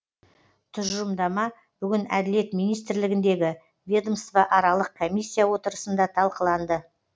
тұжырымдама бүгін әділет министрлігіндегі ведомство аралық комисиия отырысында талқыланды